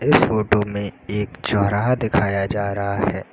इस फोटो में एक चौराहा दिखाया जा रहा है।